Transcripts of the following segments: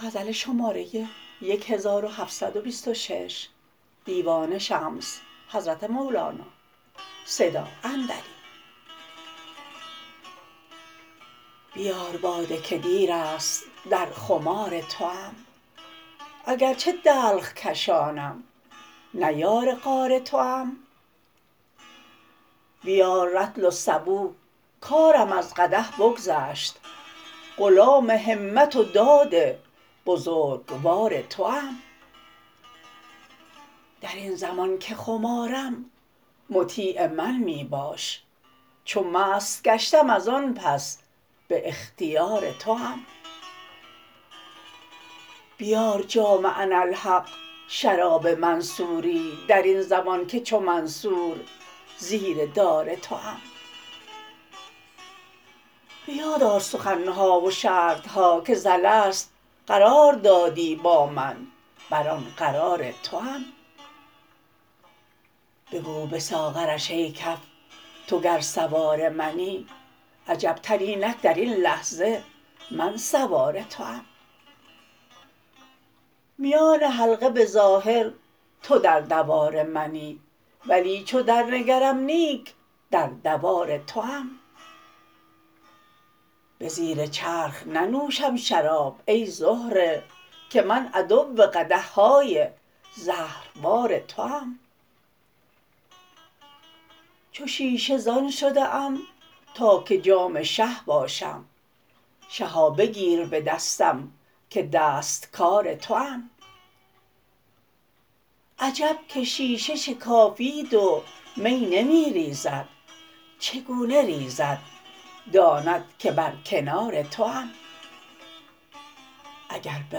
بیار باده که دیر است در خمار توام اگرچه دلق کشانم نه یار غار توام بیار رطل و سبو کارم از قدح بگذشت غلام همت و داد بزرگوار توام در این زمان که خمارم مطیع من می باش چو مست گشتم از آن پس به اختیار توام بیار جام اناالحق شراب منصوری در این زمان که چو منصور زیر دار توام به یاد آر سخن ها و شرط ها که ز الست قرار دادی با من بر آن قرار توام بگو به ساغرش ای کف تو گر سوار منی عجبتر اینک در این لحظه من سوار توام میان حلقه به ظاهر تو در دوار منی ولی چو درنگرم نیک در دوار توام به زیر چرخ ننوشم شراب ای زهره که من عدو قدح های زهربار توام چو شیشه زان شده ام تا که جام شه باشم شها بگیر به دستم که دست کار توام عجب که شیشه شکافید و می نمی ریزد چگونه ریزد داند که بر کنار توام اگر به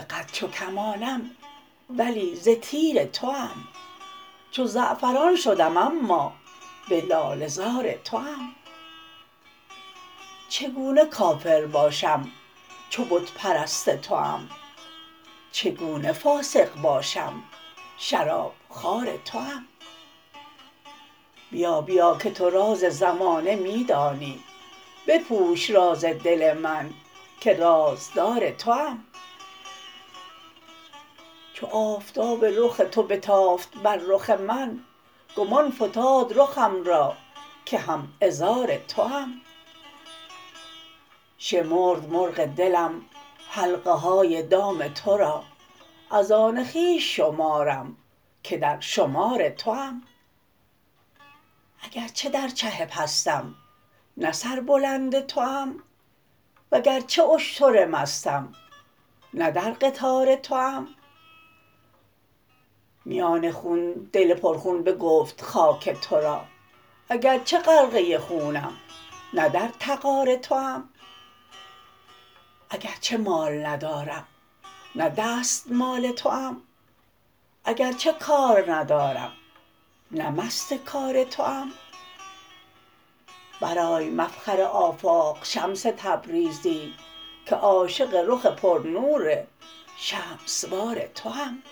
قد چو کمانم ولی ز تیر توام چو زعفران شدم اما به لاله زار توام چگونه کافر باشم چو بت پرست توام چگونه فاسق باشم شرابخوار توام بیا بیا که تو راز زمانه می دانی بپوش راز دل من که رازدار توام چو آفتاب رخ تو بتافت بر رخ من گمان فتاد رخم را که هم عذار توام شمرد مرغ دلم حلقه های دام تو را از آن خویش شمارم که در شمار توام اگرچه در چه پستم نه سربلند توام وگرچه اشتر مستم نه در قطار توام میان خون دل پرخون بگفت خاک تو را اگرچه غرقه خونم نه در تغار توام اگرچه مال ندارم نه دستمال توام اگرچه کار ندارم نه مست کار توام برآی مفخر آفاق شمس تبریزی که عاشق رخ پرنور شمس وار توام